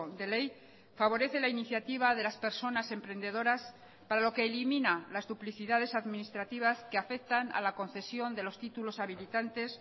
de ley favorece la iniciativa de las personas emprendedoras para lo que elimina las duplicidades administrativas que afectan a la concesión de los títulos habilitantes